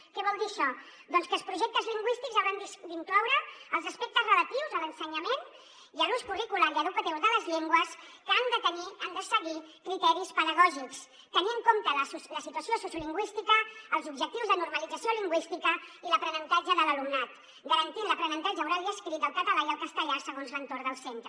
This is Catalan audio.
què vol dir això doncs que els projectes lingüístics hauran d’incloure els aspectes relatius a l’ensenyament i a l’ús curricular i educatiu de les llengües que han de seguir criteris pedagògics tenir en compte la situació sociolingüística els objectius de normalització lingüística i l’aprenentatge de l’alumnat garantint l’aprenentatge oral i escrit del català i el castellà segons l’entorn del centre